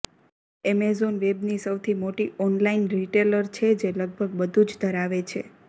Amazon વેબની સૌથી મોટી ઓનલાઇન રિટેલર છે જે લગભગ બધું જ ધરાવે છે